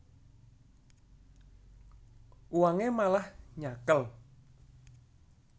Uwangé malang nyakél